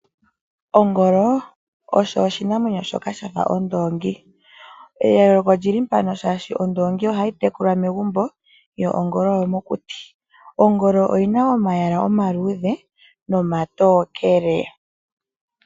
Ongolo osho oshinamwenyo shoka shafa ondoongi. Eyoloko olyili mpano shaashi ondoongi ohayi tekulwa megumbo yo ongolo oyomokuti. Ongolo oyina omayala omaluudhe nomatokele.